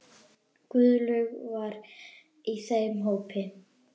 Guðlaug var í þeim hópi.